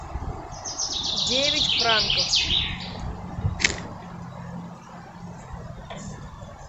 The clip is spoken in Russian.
девять франков